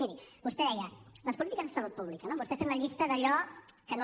miri vostè deia les polítiques de salut pública no vostè ha fet la llista d’allò que no